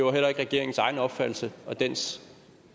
er heller ikke regeringens opfattelse og dens